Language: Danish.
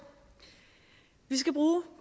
vi skal bruge